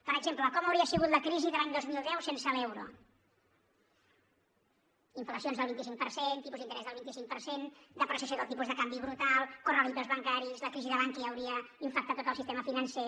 per exemple com hauria sigut la crisi de l’any dos mil deu sense l’euro inflacions del vint cinc per cent tipus d’interès del vint cinc per cent depreciació del tipus de canvi brutal corralitos bancaris la crisi de bankia hauria infectat tot el sistema financer